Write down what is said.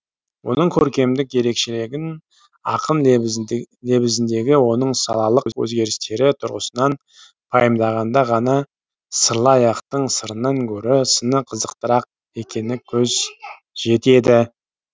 оның көркемдік ерекшелігін ақын лебізіндегі оның салалық өзгерістері тұрғысынан пайымдағанда ғана сырлы аяқтың сырынан гөрі сыны қызықтырақ екеніне көз жетеді